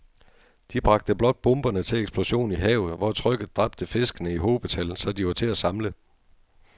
De bragte blot bomberne til eksplosion i havet, hvor trykket dræbte fiskene i hobetal, så de var til at samle